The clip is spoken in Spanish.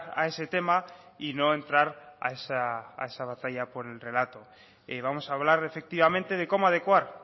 a ese tema y no entrar a esa batalla por el relato vamos a hablar efectivamente de cómo adecuar